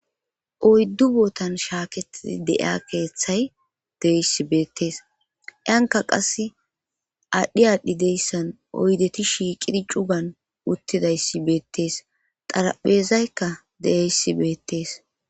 Oyddu bootan shaaketidi de7iya keeththay deeyssi beettees anka qas aadhdhi aadhdhi deyssan oydeti shiiqidi cugan uttidayssi beettees xaraphezaykka deeyssi beettees.